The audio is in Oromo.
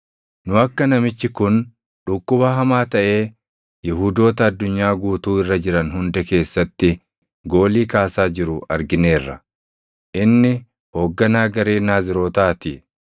“Nu akka namichi kun dhukkuba hamaa taʼee Yihuudoota addunyaa guutuu irra jiran hunda keessatti goolii kaasaa jiru argineerra. Inni hoogganaa garee Naazirootaa ti.